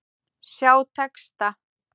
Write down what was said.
Sjá texta.